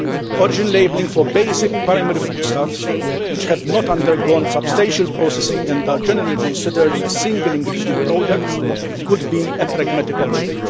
Origin labelling for basic primary foodstuffs which have not undergone substantial processing and are generally considered as single ingredient products could be a pragmatic option.